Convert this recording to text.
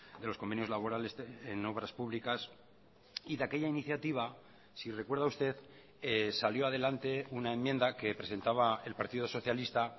de los convenios laborales en obras públicas y de aquella iniciativa si recuerda usted salió adelante una enmienda que presentaba el partido socialista